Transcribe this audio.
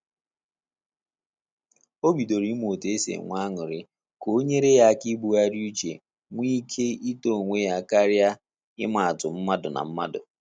O bidoro ịmụ otu esi enwe aṅụrị ka o nyere ya aka ibughari uche nwe ike ịtọ onwe ya karia ịma atụ mmadụ na mmadụ